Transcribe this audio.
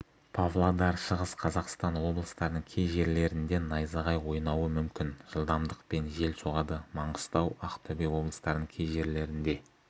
павлодар шығыс қазақстан облыстарының кей жерлерінденайзағай ойнауы мүмкін жылдамдықпен жел соғады маңғыстау ақтөбе облыстарының кей жерлерінде